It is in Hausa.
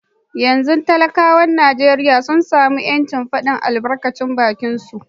Yanzu dai talakawan Najeriya sun sami ‘yancin fadin albarkacin bakinsu